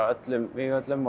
öllum vígvöllum